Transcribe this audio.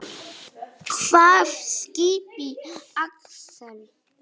Hvaða skipi, Axel?